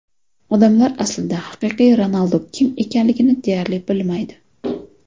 Odamlar aslida haqiqiy Ronaldu kim ekanligini deyarli bilmaydi.